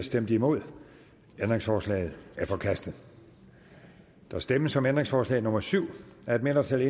stemte nul ændringsforslaget er forkastet der stemmes om ændringsforslag nummer syv af et mindretal